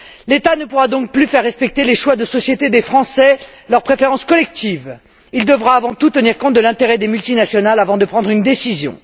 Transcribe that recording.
L'État ne pourra donc plus faire respecter les choix de société des Français, leurs préférences collectives, il devra avant tout tenir compte de l'intérêt des multinationales avant de prendre une décision.